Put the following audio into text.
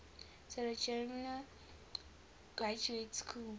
sarajevo graduate school